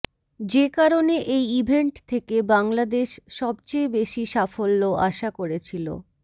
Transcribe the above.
যে কারণে এই ইভেন্ট থেকে বাংলাদেশ সবচেয়ে বেশি সাফল্য আশা করেছিল